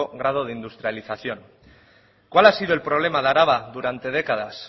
grado de industrialización cuál ha sido el problema de araba durante décadas